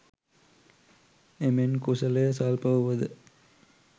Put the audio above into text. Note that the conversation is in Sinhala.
එමෙන් කුසලය ස්වල්ප වුවද